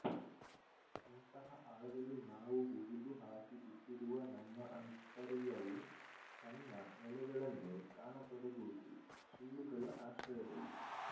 ಇಂತಹ ಆಳದಲ್ಲಿ ನಾವು ಹುಗಿದುಹಾಕಿಬಿಟ್ಟಿರುವ ನಮ್ಮ ಆಂತರ್ಯವು ತನ್ನ ನೆಲೆಗಳನ್ನು ಕಾಣತೊಡಗುವುದು ಸುಳ್ಳುಗಳ ಆಶ್ರಯದಲ್ಲಿ